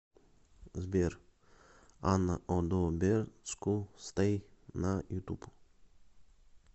сбер анна одобеску стей на ютуб